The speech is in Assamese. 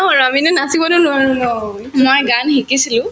আৰু আমিনো নাচিবতো নোৱাৰো ন